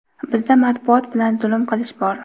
Bizda matbuot bilan zulm qilish bor.